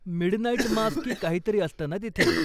Midnight mass की काहीतरी असतं ना तिथे?